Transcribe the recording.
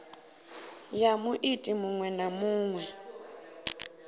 ya muiti muṅwe na muṅwe